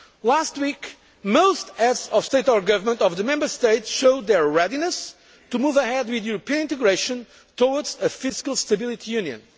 minus. Last week, most Heads of State or Government of the Member States showed their readiness to move ahead with European integration, towards a fiscal stability